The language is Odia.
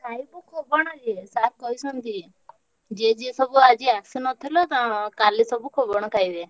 ଖାଇବୁ ଖୋବଣ ଯେ sir କହିଛନ୍ତି। ଯିଏ ଯିଏ ସବୁ ଆଜି ଆସିନଥିଲ କାଲି ସବୁ ଖୋବଣ ଖାଇବେ।